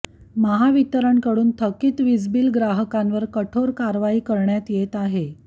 महावितरणकडून थकीत वीजबिल ग्राहकांवर कठोर कारवाई करण्यात येत आहे